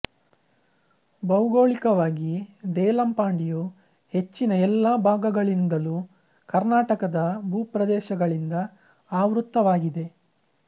ಬೌಗೋಳಿಕವಾಗಿ ದೇಲಂಪಾಡಿಯು ಹೆಚ್ಚಿನ ಎಲ್ಲಾ ಭಾಗಗಳಿಂದಲೂ ಕರ್ನಾಟಕದ ಭೂಪ್ರದೇಶಗಳಿಂದ ಆವೃತವಾಗಿದೆ